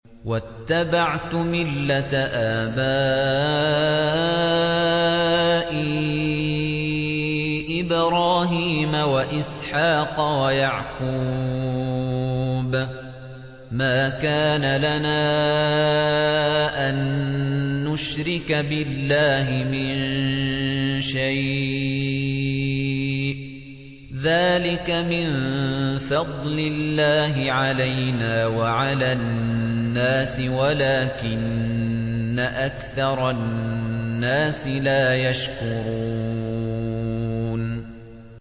وَاتَّبَعْتُ مِلَّةَ آبَائِي إِبْرَاهِيمَ وَإِسْحَاقَ وَيَعْقُوبَ ۚ مَا كَانَ لَنَا أَن نُّشْرِكَ بِاللَّهِ مِن شَيْءٍ ۚ ذَٰلِكَ مِن فَضْلِ اللَّهِ عَلَيْنَا وَعَلَى النَّاسِ وَلَٰكِنَّ أَكْثَرَ النَّاسِ لَا يَشْكُرُونَ